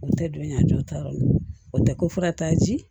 O tɛ don yan a jɔta ma o tɛ ko fura t'a ji